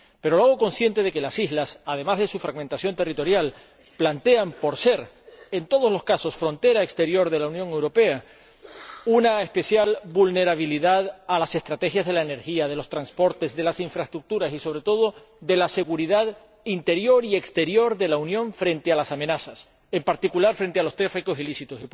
Pero lo hago consciente de que las islas, además de su fragmentación territorial, plantean, por ser en todos los casos frontera exterior de la Unión Europea, una especial vulnerabilidad a las estrategias de la energía, de los transportes, de las infraestructuras y, sobre todo, de la seguridad interior y exterior de la Unión frente a las amenazas, en particular, frente a los tráficos ilícitos.